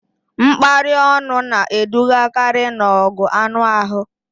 Mkparị ọnụ na-edugakarị n'ọgụ anụ ahụ